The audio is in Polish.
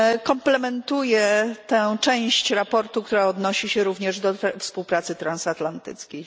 Komplementuję tę część sprawozdania, która odnosi się również do współpracy transatlantyckiej.